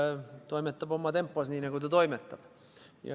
ERR toimetab oma tempos, nii nagu ta toimetab.